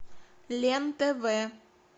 лен тв